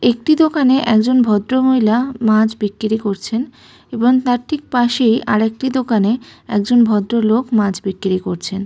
একটি দোকানে একজন ভদ্রমহিলা মাছ বিক্রি করছেন এবং তার ঠিক পাশেই আরেকটি দোকানে একজন ভদ্রলোক মাছ বিক্রি করছেন।